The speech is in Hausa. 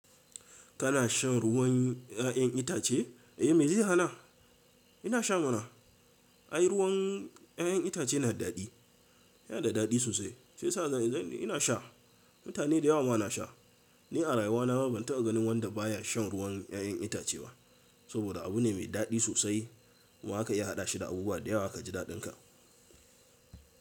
Kana shan ruwan 'ya'yan itace? Eh me zai hana? Ina sha mana. Ai ruwan 'ya'yan itace na da daɗi. Yana da daɗi sosai shi ya sa ina sha. Mutane da yawa ma na sha. Ni a rayuwa na ma ban taɓa ganin wanda baya shan ruwan 'ya'yan itace ba. Saboda abu ne mai daɗi sosai kuma za ka iya haɗa shi da abubuwa da yawa ka ji daɗin ka.